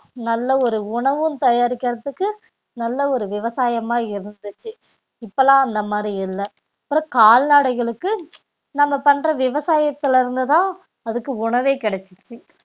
நல்ல ஒரு உணவும் தயாரிக்கிறதுக்கு நல்ல ஒரு விவசாயமா இருந்துச்சு இப்பல்லாம் அந்த மாதிரி இல்ல அப்புறம் கால்நடைகளுக்கு நம்ம பண்ற விவசாயத்துல இருந்து தான் அதுக்கு உணவே கிடைச்சிருச்சு